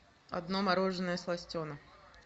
одно мороженое сластена